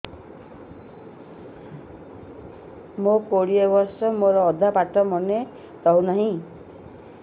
ମୋ କୋଡ଼ିଏ ବର୍ଷ ମୋର ଅଧା ପାଠ ମନେ ରହୁନାହିଁ